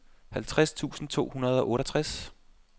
halvtreds tusind to hundrede og otteogtres